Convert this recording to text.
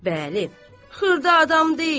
Bəli, xırda adam deyil.